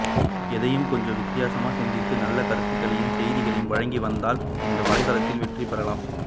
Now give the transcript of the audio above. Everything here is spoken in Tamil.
எதையும் கொஞ்சம் வித்தியாசமா சிந்தித்து நல்ல கருத்துக்களை செய்திகளை வழங்கி வந்தால் இந்த வலைத்தளத்தில் வெற்றி பெறலாம்